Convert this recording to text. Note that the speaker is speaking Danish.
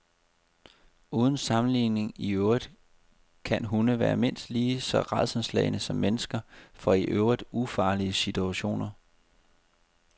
Uden sammenligning i øvrigt kan hunde være mindst lige så rædselsslagne som mennesker for i øvrigt ufarlige situationer.